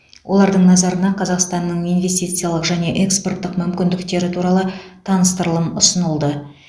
олардың назарына қазақстанның инвестициялық және экспорттық мүмкіндіктері туралы таныстырылым ұсынылды